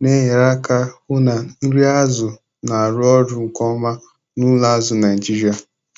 Na-enyere aka hụ na nri azụ na-arụ ọrụ nke ọma n'ụlọ azụ Naijiria.